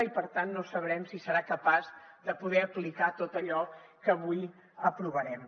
i per tant no sabrem si serà capaç de poder aplicar tot allò que avui aprovarem